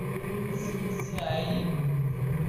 цзяи